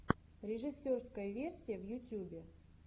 режиссерская версия в ютьюбе